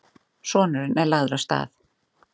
Sonurinn lagður af stað.